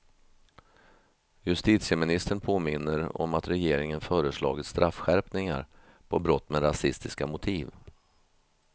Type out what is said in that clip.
Justitieministern påminner om att regeringen föreslagit straffskärpningar på brott med rasistiska motiv.